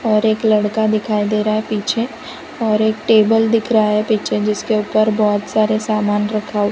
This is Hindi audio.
और एक लड़का दिखाई दे रहा है पीछे और एक टेबल दिख रहा है पीछे जिसके ऊपर बहुत सारे सामान रखा हुआ --